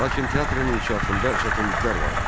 Lakin teatrın inkişafında çətinliklər vardı.